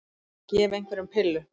Að gefa einhverjum pillu